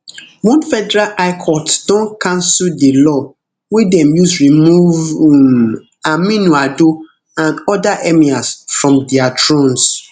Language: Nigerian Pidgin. one federal high court don cancel di law wey dem use remove um aminu ado and oda emirs from dia thrones